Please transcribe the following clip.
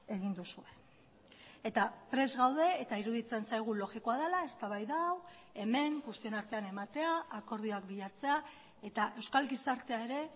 egin duzue eta prest gaude eta iruditzen zaigu logikoa dela eztabaida hau hemen guztion artean ematea akordioak bilatzea eta euskal gizartea ere